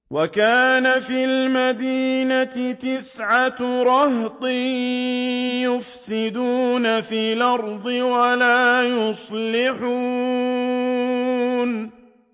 وَكَانَ فِي الْمَدِينَةِ تِسْعَةُ رَهْطٍ يُفْسِدُونَ فِي الْأَرْضِ وَلَا يُصْلِحُونَ